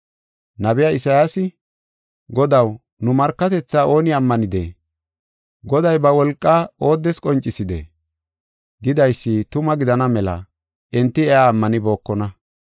Nabiya Isayaasi, “Godaw, nu markatethaa ooni ammanidee? Goday ba wolqaa ooddes qoncisidee?” Gidaysi tuma gidana mela enti iya ammanibookona.